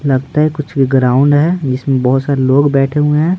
लगता है कुछ भी ग्राउंड है इसमें बहुत सारे लोग बैठे हुए हैं।